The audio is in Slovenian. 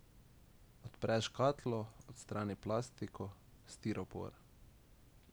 Odpre škatlo, odstrani plastiko, stiropor.